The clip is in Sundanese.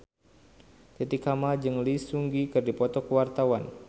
Titi Kamal jeung Lee Seung Gi keur dipoto ku wartawan